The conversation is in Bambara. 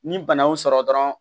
Ni bana y'o sɔrɔ dɔrɔn